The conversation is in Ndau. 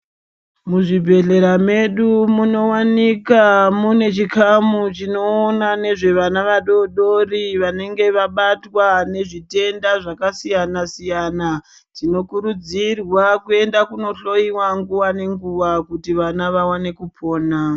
Muzvibhedhlera medu munowanika mune chikamu chinoona nezvevana vadoodori vanenge vabatwa ngezvitenda zvakasiyana-siyana. Tinokurudzirwa kuenda kundohloyiwa nguwa nenguwa kuti vana vaone kupona.